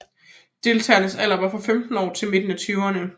Deltagernes alder var fra 15 år til midten af tyverne